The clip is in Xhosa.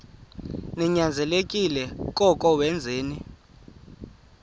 ninyanzelekile koko wenzeni